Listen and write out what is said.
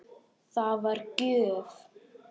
Það var gjöf.